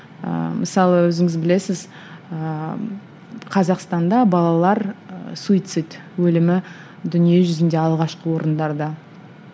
ыыы мысалы өзіңіз білесіз ыыы қазақстанда балалар суицид өлімі дүние жүзінде алғашқы орындарда